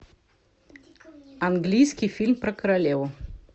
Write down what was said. английский фильм про королеву